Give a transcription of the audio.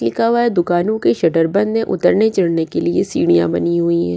लिखा हुआ है दुकानों के शटर बंद है उतरने चढ़ने के लिए सीढ़ियां बनी हुई हैं।